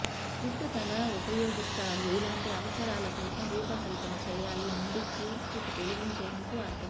జుట్టు తల ఉపయోగిస్తారు ఇలాంటి అవసరాల కోసం రూపకల్పన చేయాలి నుండి కూర్పు తొలగించేందుకు అర్థం